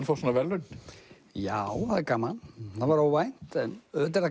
fá svona verðlaun já það er gaman það var óvænt en auðvitað